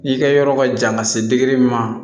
I ka yɔrɔ ka jan ka se min ma